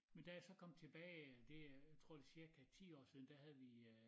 Men da jeg så kom tilbage det er jeg tror det cirka 10 år siden der havde vi øh